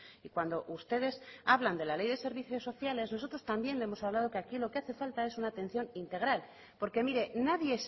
y cuando ustedes hablan de la ley de servicios sociales nosotros también hemos hablado que aquí lo que hace falta es una atención integral porque mire nadie